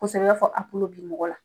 i b'a fɔ a kulo bi mɔgɔ la.